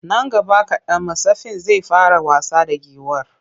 Nan gaba kaɗan mattsafin zai fara wasa da giwar.